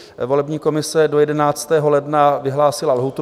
Volební komise do 11. ledna vyhlásila lhůtu.